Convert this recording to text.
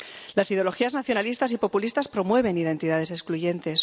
Las ideologías nacionalistas y populistas promueven identidades excluyentes